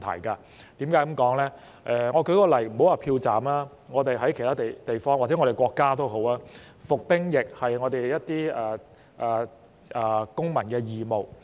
我舉一個例子，且不說票站，在其他地方或在我們國家，服兵役是公民義務。